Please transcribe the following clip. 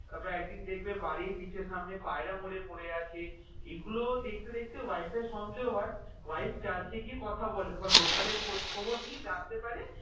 তারপর একদিন দেখবে বাড়ির নিচের সামনে পায়রা মড়ে পড়ে আছে এগুলো দেখতে দেখতে wife এর সন্দেহ হয় wife church এ গিয়ে কথা বলে এবার local এ খোঁজ খবর নিয়ে জানতে পারে